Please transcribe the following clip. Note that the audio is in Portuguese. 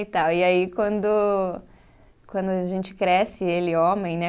E tal, e aí quando, quando a gente cresce, ele homem, né?